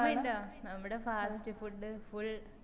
ഓർമയ്ണ്ട നമ്മളെ പാലസി food full